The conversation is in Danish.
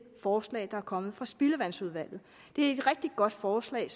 forslag der er kommet fra spildevandsudvalget det er et rigtig godt forslag